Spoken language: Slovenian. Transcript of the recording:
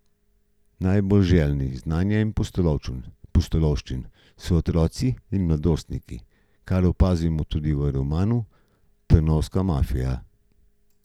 Najbolj željni znanja in pustolovščin so otroci in mladostniki, kar opazimo tudi v romanu Trnovska mafija.